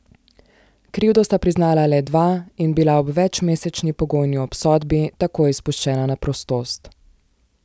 Krivdo sta priznala le dva in bila ob večmesečni pogojni obsodbi takoj izpuščena na prostost.